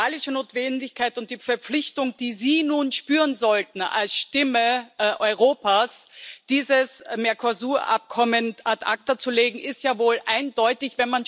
Die moralische Notwendigkeit und die Verpflichtung, die Sie nun spüren sollten als Stimme Europas, dieses Mercosur Abkommen ad acta zu legen, ist ja wohl eindeutig.